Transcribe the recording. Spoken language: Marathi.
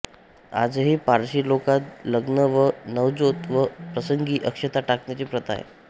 आजही पारशी लोकात लग्न व नवजोत या प्रसंगी अक्षता टाकण्याची प्रथा आहे